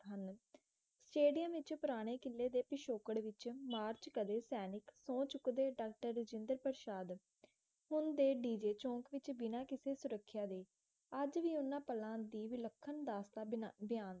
ਹਨ ਸਟੇਡੀਅਮ ਵਿੱਚ ਪੁਰਾਣੇ ਕਿਲੇ ਦੇ ਪਿਛੋਕੜ ਵਿੱਚ ਮਾਰਚ ਕਦੇ ਸੈਨਿਕ ਸਹੁੰ ਚੁੱਕਦੇ ਡਾਕਟਰ ਰਜਿੰਦਰ ਪ੍ਰਸ਼ਾਦ ਹੁਣ ਦੇ ਡੀ ਜੇ ਚੌਂਕ ਬਿਨਾ ਕਿਸੇ ਸੁਰਖਿਆ ਦੇ ਅੱਜ ਵੀ ਉਨ੍ਹਾਂ ਪਲਾਂ ਦੇ ਵਿਲੱਖਣ ਦਾਸਤਾਨ ਬਿਆਨਦੇ ਹਨ